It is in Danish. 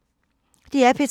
DR P3